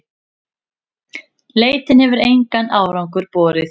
Leitin hefur engan árangur borið.